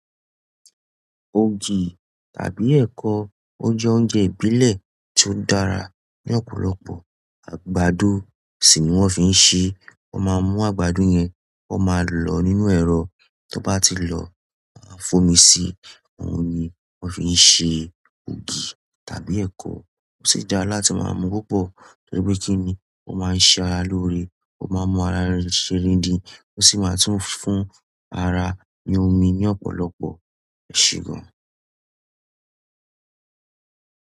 Ògì tàbí ẹ̀kọ, ó jẹ́ oúnjẹ ìbílẹ̀ tí ó dára ní ọ̀pọ̀lọpọ̀. Àgbàdo sì ni wọ́n fi ń ṣe, wọ́n máa mú àgbàdo yẹn, wọ́n máa lọ nínú ẹ̀rọ, tí ó bá ti lọ, wọ́n máa fomi sí i, òun ni wọ́n fi ń ṣe ògì tàbí ẹ̀kọ. Ó sì dára láti máa mu púpọ̀ torí pé kí ni ó máa ń ṣe ara lóore, ó máa ń mọ ara rẹ ṣe gidi, ó sì máa tún fún ara ní omi ní ọ̀pọ̀lọpọ̀, eṣè gan.